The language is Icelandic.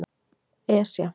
Esja